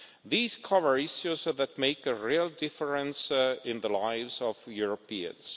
These cover issues that make a real difference in the lives of Europeans.